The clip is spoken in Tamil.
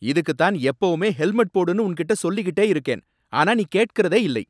இதுக்குதான் எப்பவுமே ஹெல்மெட் போடுன்னு உன்கிட்ட சொல்லிக்கிட்டே இருக்கேன். ஆனா நீ கேட்கிறதே இல்லை.